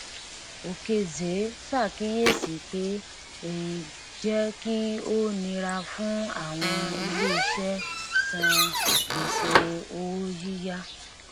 okezie ṣàkíyèsí pé èyí jẹ kí ó nira fún àwọn ilé iṣẹ san gbèsè owó yíyá